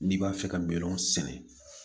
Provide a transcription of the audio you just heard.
N'i b'a fɛ ka milɔn sɛnɛ